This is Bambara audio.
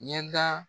Ɲɛda